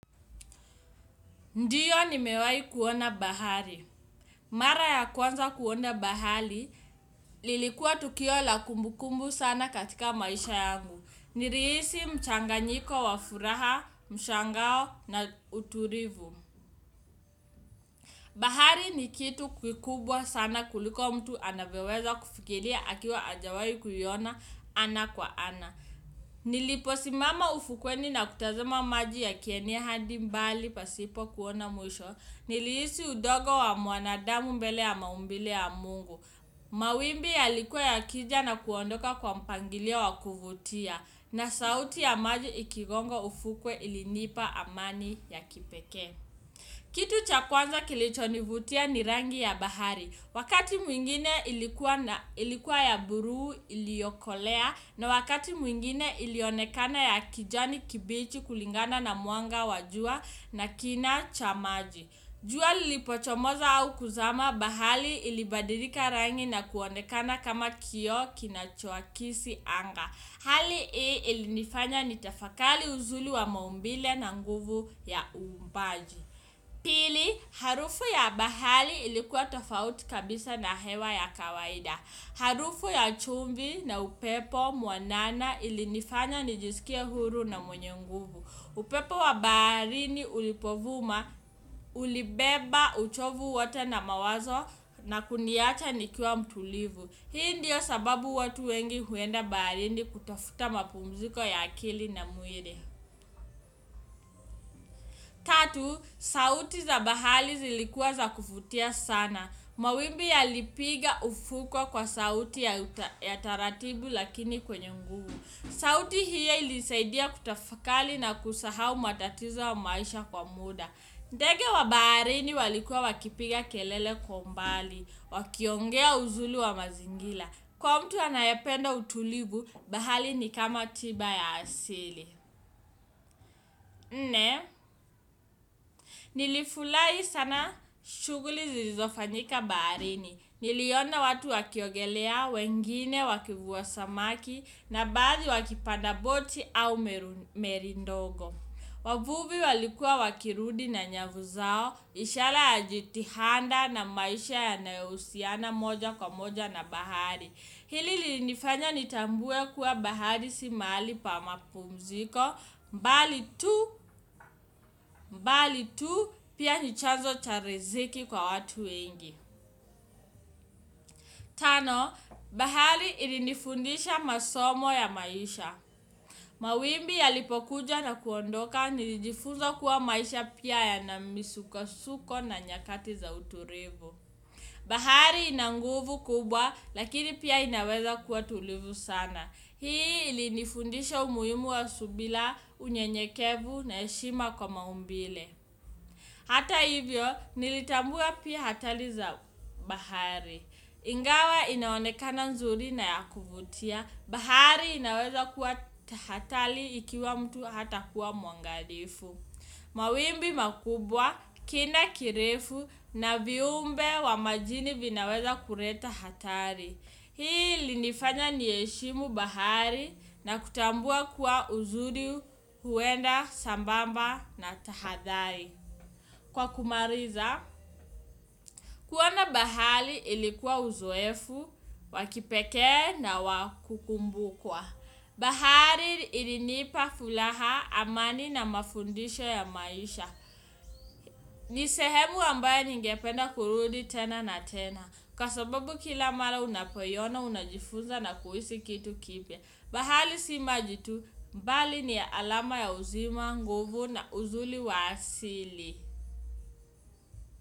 Ndiyo nimewai kuona bahari. Mara ya kwanza kuona bahali lilikuwa tukio la kumbu kumbu sana katika maisha yangu nilihisi mchanganyiko wa furaha, mshangao na utulivu. Bahari ni kitu kukubwa sana kuliko mtu anavyoweza kufikiria akiwa hajawai kuiyona ana kwa ana. Nilipo simama ufukweni na kutazama maji ya kieneya hadi mbali pasipo kuona mwisho nilihisi udogo wa mwanadamu mbele ya maumbile ya Mungu. Mawimbi ya likuwa ya kija na kuondoka kwa mpangilio wa kuvutia na sauti ya maji ikigongo ufukwe ilinipa amani ya kipekee. Kitu cha kwanza kilichonivutia ni rangi ya bahari wakati mwingine ilikuwa na ilikuwa ya buru iliyokolea na wakati mwingine ilionekana ya kijani kibichi kulingana na mwanga wa jua na kina cha maji. Jua li lipochomoza au kuzama bahali ilibadirika rangi na kuonekana kama kioo kinachowakisi anga hali hii ilinifanya ni tafakali uzuli wa maumbile na nguvu ya uumbaji. Pili, harufu ya bahali ilikuwa tofauti kabisa na hewa ya kawaida harufu ya chumvi na upepo mwanana ilinifanya ni jisikie huru na mwenye nguvu. Upepo wa baharini ulipovuma, ulibeba, uchovu wote na mawazo na kuniacha nikiwa mtulivu. Hii ndiyo sababu watu wengi huenda baharini kutafuta mapumziko ya akili na mwili. Sauti za bahali zilikuwa za kuvutia sana. Mawimbi ya lipiga ufukwe kwa sauti ya taratibu lakini kwenye nguvu. Sauti hiyo inilisaidia kutafakali na kusahau matatizo ya maisha kwa muda. Ndege wa baharini walikuwa wakipiga kelele kwa umbali, wakiongea uzuli wa mazingila. Kwa mtu anayependa utulivu, bahali ni kama tiba ya asili. Nne, nilifulai sana shughuli zilizofanyika baharini. Niliona watu wakiogelea, wengine wakivuwa samaki, na baadhi wakipanda boti au meri ndogo. Wavuvi walikuwa wakirudi na nyavu zao. Ishara ya jitihanda na maisha yanayo husiana moja kwa moja na bahari hili linifanya nitambue kuwa bahari si mahali pa mapumziko mbali tu, bali tu, pia nichazo cha riziki kwa watu wengi. Tano, bahari ilinifundisha masomo ya maisha. Mawimbi ya lipokuja na kuondoka nilijifuza kuwa maisha pia yana misukosuko na nyakati za uturivu. Bahari ina nguvu kubwa lakini pia inaweza kuwa tulivu sana hii ili nifundisha umuhimu wa subila unyenyekevu na heshima kwa maumbile. Hata hivyo nilitambua pia hatari za bahari. Ingawa inaonekana nzuri na ya kuvutia bahari inaweza kuwa ta, hatali ikiwa mtu hata kuwa mwangalifu. Mawimbi makubwa, kina kirefu na viumbe wa majini vinaweza kureta hatari hii ilinifanya ni heshimu bahari na kutambua kuwa uzuri huenda sambamba na tahadhari, kwa kumariza, kuona bahali ilikuwa uzoefu, wakipekee na wa kukumbukwa. Bahali ilinipa fulaha amani na mafundisho ya maisha. Ni sehemu ambaye ningependa kurudi tena na tena. Kwa sababu kila mara unapoiyona, unajifunza na kuhisi kitu kipya. Bahali si maji tu, mbali ni alama ya uzima, nguvu na uzuli wa asili.